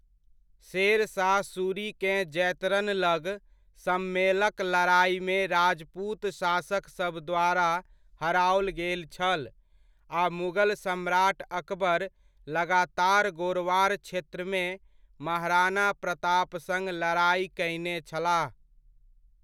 शेरशाह सूरीकेँ जैतरन लग सम्मेलक लड़ाइमे राजपूत शासक सभ द्वारा हराओल गेल छल, आ मुगल सम्राट अकबर लगातार गोरवार क्षेत्रमे महाराणा प्रताप सङ्ग लड़ाइ कयने छलाह।